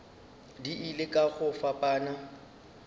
di ile ka go fapana